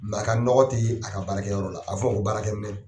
Nka a ka nɔgɔ tɛ ye a ka baarakɛyɔrɔ la a fɔ baarakɛ minɛ